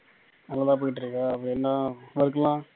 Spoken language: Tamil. நல்லாதான் போயிட்டு இருக்கா அப்புறம் என்ன work லாம்